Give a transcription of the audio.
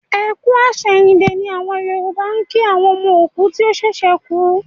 Ẹ kú àsẹ̀yìndè ni àwọn Yòrùbá ń kí àwọn ọmọ òkú tí ó ṣẹ̀ṣẹ̀ kú